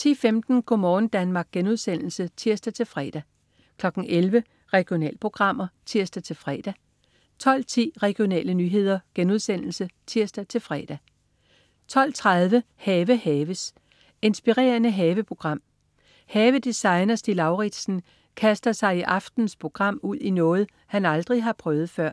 10.15 Go' morgen Danmark* (tirs-fre) 11.00 Regionalprogrammer (tirs-fre) 12.10 Regionale nyheder* (tirs-fre) 12.30 Have haves. Inspirerende haveprogram. Havedesigner Stig Lauritsen kaster sig i aftenens program ud i noget, han aldrig har prøvet før.